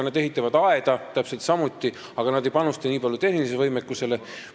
Nemad ehitavad aeda täpselt samuti, aga nad ei panusta nii palju tehnilisele võimekusele.